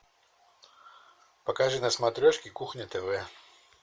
покажи на смотрешке кухня тв